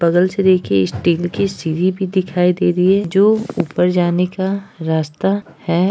बगल से देखिए एक स्टील की सीढ़ी भी दिखाई दे रही है जो ऊपर जाने का रास्ता है।